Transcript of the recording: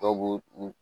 Dɔw b'u u